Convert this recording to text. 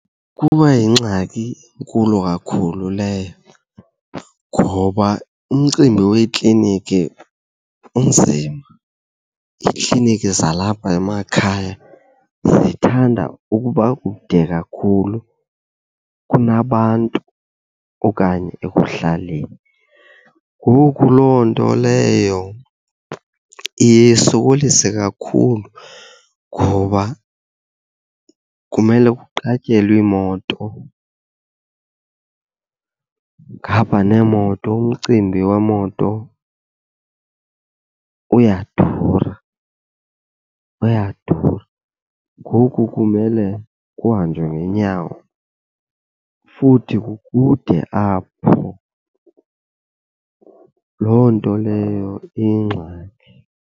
Kuba yingxaki enkulu kakhulu leyo ngoba umcimbi weekliniki unzima. Iikliniki zalapha emakhaya zithanda ukuba kude kakhulu kunabantu okanye ekuhlaleni. Ngoku loo nto leyo iye isokolise kakhulu ngoba kumele kuqatyelwe iimoto, ngapha neemoto umcimbi weemoto uyadura, uyadura. Ngoku kumele kuhanjwe ngeenyawo futhi kukude apho. Loo nto leyo iyingxaki.